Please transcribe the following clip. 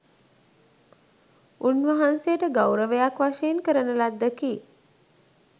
උන්වහන්සේට ගෞරවයක් වශයෙන් කරන ලද්දකි.